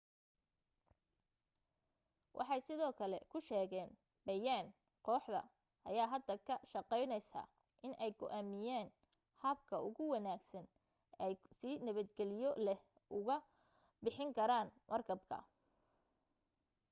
waxay sidoo kale ku sheegeen bayaan kooxda ayaa hadda ka shaqaynaysaa inay go'aamiyaan habka ugu wanaagsan ay si nabadgeliyo leh ugu bixin karaan markabka